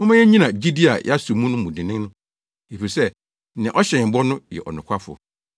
Momma yennyina gyidi a yɛaso mu no mu dennen, efisɛ nea ɔhyɛɛ yɛn bɔ no yɛ ɔnokwafo.